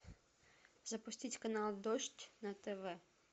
запустить канал дождь на тв